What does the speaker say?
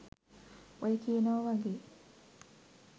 ඔය කියනව වගේ